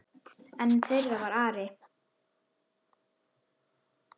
Einn þeirra var Ari.